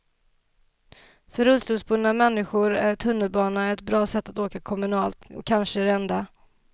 För rullstolsburna människor är tunnelbana ett bra sätt att åka kommunalt, och kanske det enda.